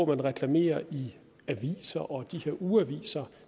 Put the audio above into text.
man reklamerer i aviser og ugeaviser